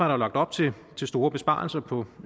jo lagt op til store besparelser på